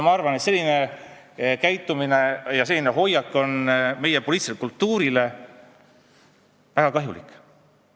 Ma arvan, et selline käitumine ja hoiak on meie poliitilisele kultuurile väga kahjulik.